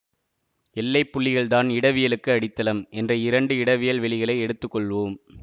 எல்லைப்புள்ளிகள் தான் இடவியலுக்கு அடித்தளம் என்ற இரண்டு இடவியல் வெளிகளை எடுத்து கொள்வோம்